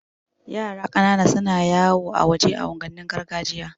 Yara ƙanana suna yawo a waje a unguwannin gargajiya